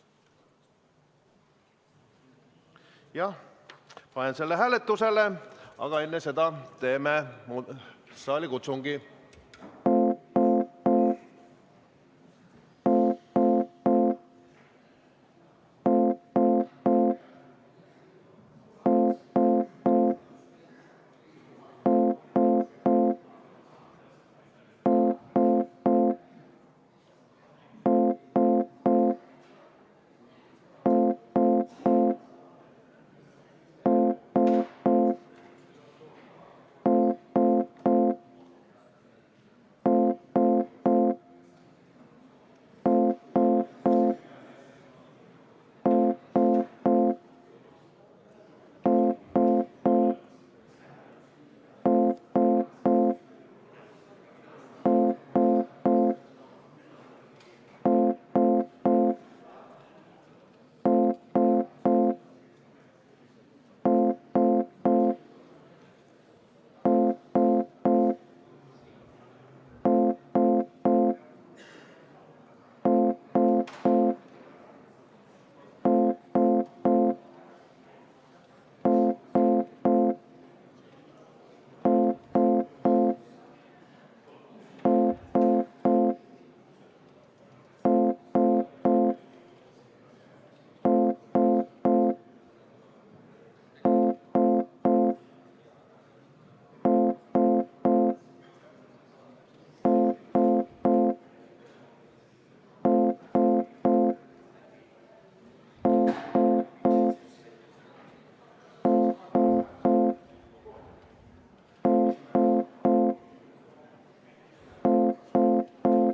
Ma panen selle hääletusele, aga enne seda teeme saalikutsungi.